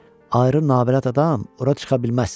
Ayrı nağbələt adam ora çıxa bilməz.